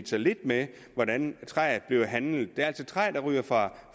lidt med hvordan træet bliver handlet det er altså træ der ryger fra